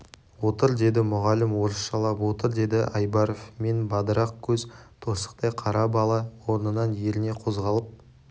отыр деді мұғалім орысшалап отыр деді айбаров мен бадырақ көз торсықтай қара бала орнынан еріне қозғалып